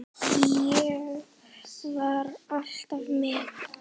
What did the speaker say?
Ég var alltaf með.